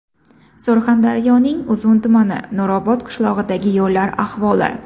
Surxondaryoning Uzun tumani Nurobod qishlog‘idagi yo‘llar ahvoli .